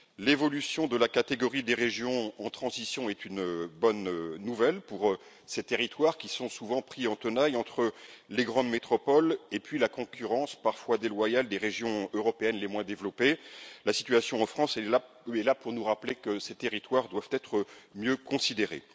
L'évolution de la catégorie des régions en transition est une bonne nouvelle pour ces territoires, qui sont souvent pris en tenaille entre les grandes métropoles et la concurrence parfois déloyale des régions européennes les moins développées. La situation en France est là pour nous rappeler que ces territoires doivent être mieux considérés.